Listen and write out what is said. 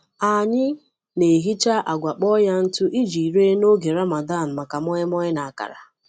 Anyị na-ehicha agwa kpọọ ya ntụ iji ree n’oge Ramadan maka moin-moin na akara.